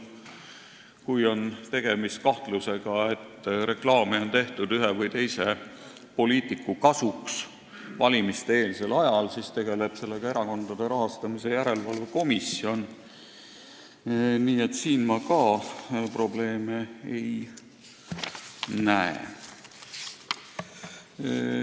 Kui on kahtlus, et reklaami on tehtud ühe või teise poliitiku kasuks valimiseelsel ajal, siis tegeleb sellega Erakondade Rahastamise Järelevalve Komisjon, nii et siin ma ka probleemi ei näe.